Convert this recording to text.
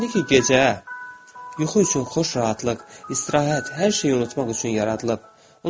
İndi ki gecə, yuxu üçün xoş rahatlıq, istirahət, hər şey unutmaq üçün yaradılıb.